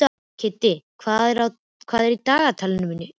Kiddi, hvað er í dagatalinu mínu í dag?